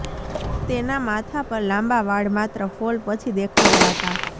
તેના માથા પર લાંબા વાળ માત્ર ફોલ પછી દેખાયા હતા